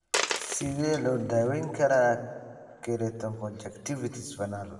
Sidee loo daweyn karaa keratoconjunctivitis vernal?